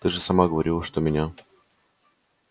ты же сама говорила что меня